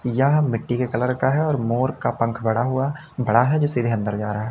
यह मिट्टी के कलर का है और मोर का पंख बड़ा हुआ बड़ा है जो सीधे अंदर जा रहा है।